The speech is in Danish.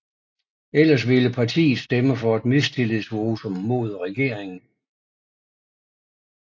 Ellers ville partiet stemme for et mistillidsvotum mod regeringen